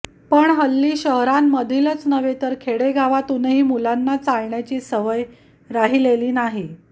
पण हल्ली शहरांमधीलच नव्हे तर खेडेगावातूनही मुलांना चालण्याची सवय राहिलेली नाही